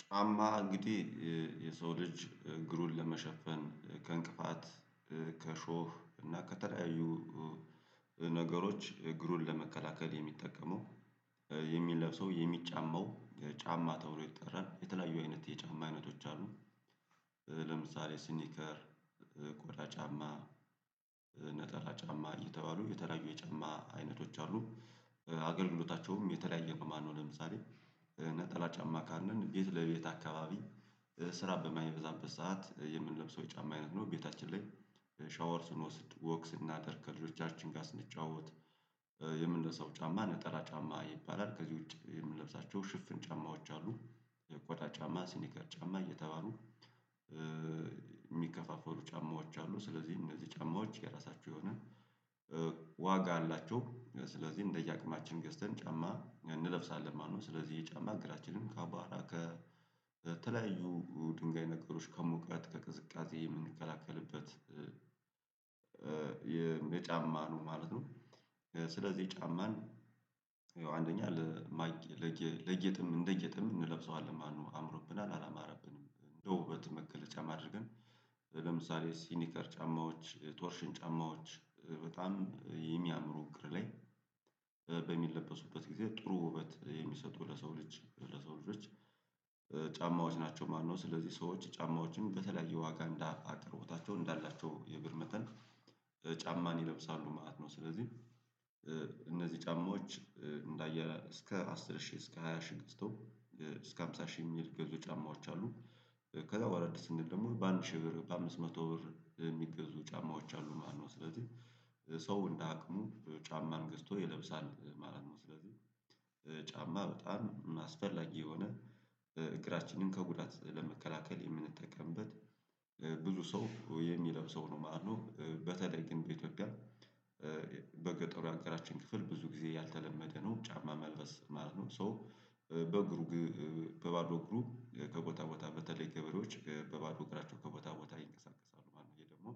ጫማ እንግዲህ የሰው ልጅ እግሩን ለመሸፈን ከእንቅፋት ከሾህ እና ከተለያዩ ነገሮች እግሩን ለመከላከል የሚጠቀመው የሚለብሰው የሚጫማው ጫማ ተብሎ ይጠራል። የተለያዩ አይነት የጫማ አይነቶች አሉ። ለምሳሌ ስኒከር ቆዳ ጫማ ነጠላ ጫማ እየተባሉ የተለያዩ የጫማ አይነቶች አሉ። አገልግሎታቸውም የተለያየ በማንሆን ለምሳሌ ነጠላ ጫማ ካልነ ቤት ለቤት አካባቢ ስራ በማይበዛበት ሰዓት የምንለብሰው ጫማ አይነት ነው። ቤታችን ላይ ሻወር ስንወስድ ወክ ስናደርግ ከልጆቻችን ጋር ስንጨዋወት የምንለብሰው ጫማ ነጠላ ጫማ ይባላል። ከዚህ ውጪ የምንለብሳቸው ሽፍን ጫማዎች አሉ የቆዳ ጫማ ሲኒከር ጫማ እየተባሉ የሚከፋፈሉ ጫማዎች አሉ። ስለዚህ እነዚህ ጫማዎች የራሳቸው የሆነ ዋጋ አላቸው። ስለዚህ እንደየ አቅማችን ገዝተን ጫማ እንለብሳለን ማለት ነው። ስለዚህ የጫማ እግራችንን ከአቧራ ከ ከተለያዩ ድንጋይ ነገሮች ከሞቃት ከቅዝቃዜ የምንከላከልበት የየጫማ ነው ማለት ነው። ስለዚህ ጫማን ይሄው አንደኛ ለጌጥም እንደ ጌጥም እንለብሰዋለን ማለት ነው። አምሮብናል አላማረብንም ለውበት መገለጫም አድርገን ነው ለምሳሌ ሲኒከር ጫማዎች ቶርሽን ጫማዎች በጣም የሚያምሩ እግር ላይ በሚለበሱበት ጊዜ ጥሩ ውበት የሚሰጡ ለሰው ልጅ ለሰው ልጆች ጫማዎች ናቸው ማለት ነው። ስለዚህ ሰዎች ጫማዎችን በተለያየ ዋጋ እንዳ አቅርቦታቸው እንዳላቸው የግር መጠን ጫማን ይለብሳሉ ማለት ነው። ስለዚህ እነዚህ ጫማዎች እንዳየህ እስከ አስር ሺህ እስከ ሃያ ሺህ ገዝቶ እስከ ሃምሳ ሺህ የሚል ገዙ ጫማዎች አሉ። ከዛ ወረድ ስንል ደግሞ በአንድ ሺህ ብር በአምስት መቶ ብር የሚገዙ ጫማዎች አሉ ማለት ነው። ስለዚህ ሰው እንደ አቅሙ ጫማን ገዝቶ ይለብሳል ማለት ነው። ስለዚህ ጫማ በጣም አስፈላጊ የሆነ እግራችንን ከጉዳት ለመከላከል የምንጠቀምበት ብዙ ሰው የሚለብሰው ነው ማለትነው። በተለይ ግን በኢትዮጵያ በገጠሩ ያገራችን ክፍል ብዙ ጊዜ ያልተለመደ ነው ጫማ መልበስ ማለት ነው። ሶ በግሩ በባዶ እግሩ ከቦታ ቦታ በተለይ ገበሬዎች በባዶ እግራቸው ከቦታ ቦታ ይንቀሳቀሳሉ ማለት ነው። ይሄ ደግሞ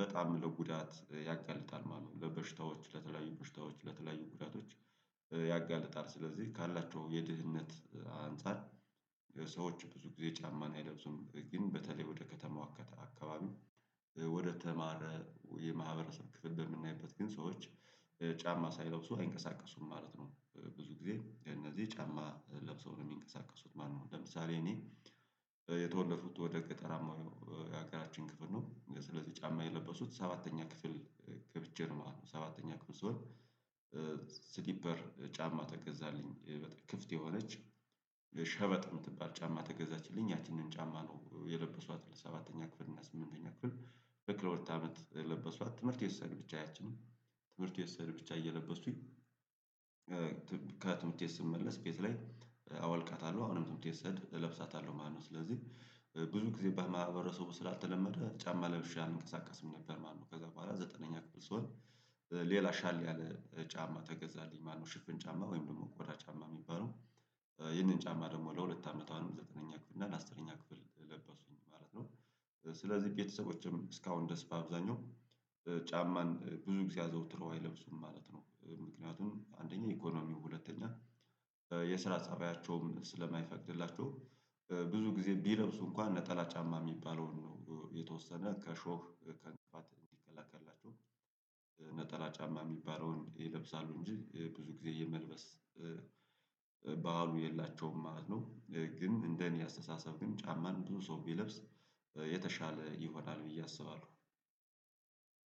በጣም ለጉዳት ያጋልጣል ማለት ነው። ለበሽታዎች ለተለያዩ በሽታዎች ለተለያዩ ጉዳቶች ያጋልጣል ስለዚህ ካላቸው የድህነት አንፃር ሰዎች ብዙ ጊዜ ጫማን አይለብሱም። ግን በተለይ ወደ ከተማው አካባቢ ወደ ተማረ የማህበረሰብ ክፍል በምናይበት ግን ሰዎች ጫማ ሳይለብሱ አይንቀሳቀሱም ማለት ነው። ብዙ ጊዜ የነዚህ ጫማ ለብሰው ነው የሚንቀሳቀሱት ማለት ነው። ለምሳሌ እኔ የተወለድኩት ወደ ገጠራማው የሀገራችን ክፍል ነው ስለዚህ ጫማ የለበስኩተት ሰባተኛ ክፍል ገብቼ ነው ማለት ነው። ሰባተኛ ክፍል ስሆን ስሊፐር ጫማ ተገዛልኝ በጣም ክፍት የሆነች ሸበጥ የምትባል ጫማ ተገዛችልኝ ያቺንን ጫማ ነው የለበሷት ለሰባተኛ ክፍል እና ስምንተኛ ክፍል ለሁለት አመት ለበስኳት ትምህርት ስሄድ ብቻ ያቺን ትምህርት ስሄድ ብቻ እየለበስኩኝ ከትምህርት ቤት ስመለስ ቤት ላይ አወልቃታለሁ አሁንም ትምህርት ቤት እለብሳታለሁ ማለት ነው። ስለዚህ ብዙ ጊዜ በማህበረሰቡ ስላልተለመደ ጫማ ለብሼ አልንቀሳቀስም ነበር ማለት ነው። ከዛ በኋላ ዘጠነኛ ክፍል ስሆን ሌላ ሻል ያለ ጫማ ተገዛልኝ ማለት ነው። ሽፍን ጫማ ወይም ደግሞ ቆዳ ጫማ የሚባለው ይህንን ጫማ ደግሞ ለሁለት አመት አሁንም ዘጠነኛ ክፍል እና አስረኛ ክፍል ለበስኩት ማለት ነው። ስለዚህ ቤተሰቦቼም እስካሁን ድረስ በአብዛኛው ጫማን ብዙ ጊዜ አዘውትረው አይለብሱም ማለት ነው። ምክንያቱም አንደኛ ኢኮኖሚው ሁለተኛ የስራ ፀባያቸውም ስለማይፈቅድላቸው ብዙ ጊዜ ቢለብሱ እንኳን ነጠላ ጫማ የሚባለውን ነው የተወሰነ ከሾህ ከእንቅፋት እንዲከላከልላቸው ነጠላ ጫማ የሚባለውን ይለብሳሉ እንጂ ብዙ ጊዜ የመልበስ ባህሉ የላቸውም ማለት ነው። ግን እንደኔ አስተሳሰብ ግን ጫማን ብዙ ሰው ቢለብስ የተሻለ ይሆናል ብዬ አስባለሁ።